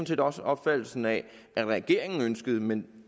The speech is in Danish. set også en opfattelse af at regeringen ønskede men